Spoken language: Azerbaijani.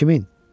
Kimin?